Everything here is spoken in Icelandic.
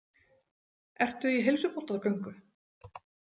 Ertu í heilsubótargöngu?